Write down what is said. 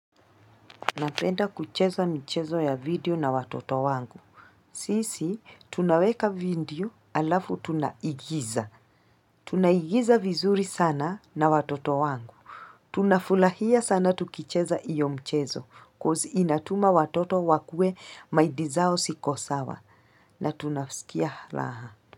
Napenda kucheza mchezo ya video na watoto wangu. Sisi, tunaweka video alafu tunaigiza. Tunaigiza vizuri sana na watoto wangu. Tunafulahia sana tukicheza iyo mchezo koz inatuma watoto wakue maidi zao sikosawa na tunafusikia laha.